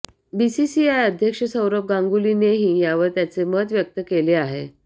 BCCI अध्यक्ष सौरव गांगुलीनेही यावर त्याचे मत व्यक्त केलं आहे